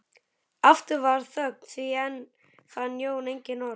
Aftur varð þögn því enn fann Jón engin orð.